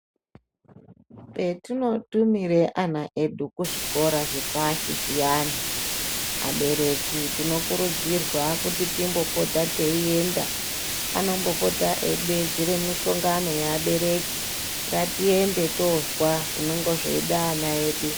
Petinotumire ana edu kuzvikora zvepashi zviyani, abereki tinokurudzirwa kuti timbopote teienda, anombopota eidedzera mishongano yeabereki ngatiende toozwa zvinonge zveida ana edu.